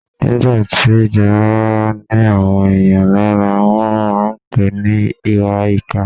Nígbà tí ìjọba bá ni àwọn èèyàn lára, wọ́n máà ń pèé ní ìwàìkà.